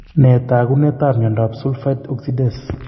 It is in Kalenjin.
Nee taakunetaab myondap sulfite oxidase?